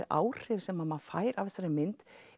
áhrif sem maður fær af þessari mynd